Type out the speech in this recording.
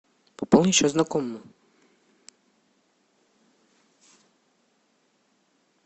пополнить счет знакомому